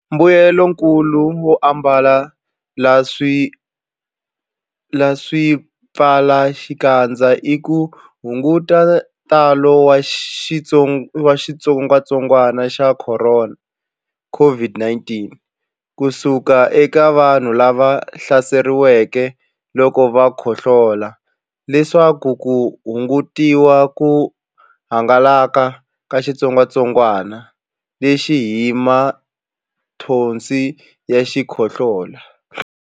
Mbuyelonkulu wo ambala swipfalaxikandza i ku hunguta ntalo wa xitsongwantsongwana xa Khorona COVID-19 ku suka eka vanhu lava hlaseriweke loko va khohlola leswaku ku hungutiwa ku hangalaka ka xitsongwantsongwana lexi hi mathonsi ya xikhohlola.